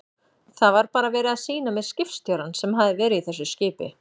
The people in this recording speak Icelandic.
Það var bara verið að sýna mér skipstjórann sem hafði verið í þessu skipi.